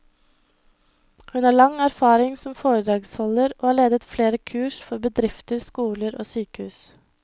Hun har lang erfaring som foredragsholder, og har ledet flere kurs for bedrifter, skoler og sykehus.